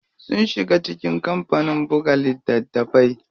Sun shiga cikin kampanin buga littatafai.